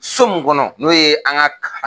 So mun kɔnɔ n'o ye an ka ka